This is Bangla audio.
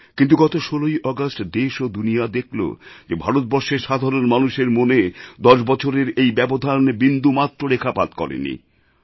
কিন্তু গত ১৬ই আগষ্ট দেশ ও দুনিয়া দেখল যে ভারতবর্ষের সাধারণ মানুষের মনে দশ বছরের এই ব্যবধান বিন্দুমাত্র রেখাপাত করেনি